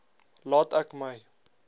laat ek my